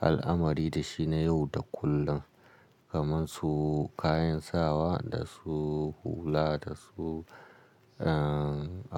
al'amari da shi na yau da kullum, kamar su kayan sawa da su hula da su, uhm--